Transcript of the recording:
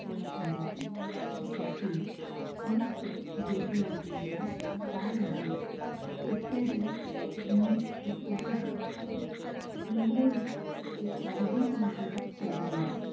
ओळखली जाते त्यातीळ मुख्य Gateway of India, Taj hotel इत्यादी~ इत्यादी आहेत. मुंबई अरबी समुद्र शेजारी आहे.